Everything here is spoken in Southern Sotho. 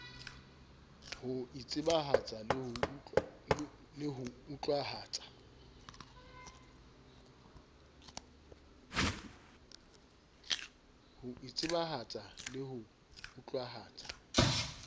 ho itsebahatsa le ho utlwahatsa